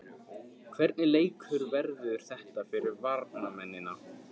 Hvernig leikur verður þetta fyrir varnarmennina?